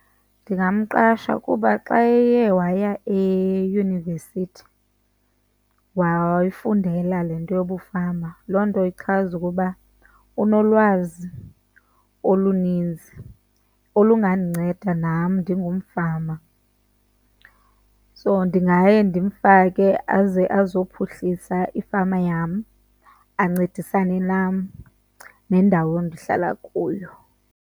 Ndingamqasha kuba xa eye waya eyunivesithi wayifundela le nto yobufama loo nto ichaza ukuba unolwazi oluninzi olungandinceda nam ndingumfama. So ndingaye ndimfake aze azophuhlisa ifama yam, ancedisane nam nendawo endihlala kuyo.